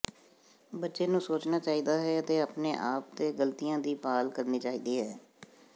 ਬੱਚੇ ਨੂੰ ਸੋਚਣਾ ਚਾਹੀਦਾ ਹੈ ਅਤੇ ਆਪਣੇ ਆਪ ਤੇ ਗਲਤੀਆਂ ਦੀ ਭਾਲ ਕਰਨੀ ਚਾਹੀਦੀ ਹੈ